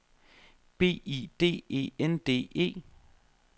B I D E N D E